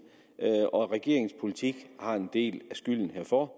og at regeringens politik har en del af skylden herfor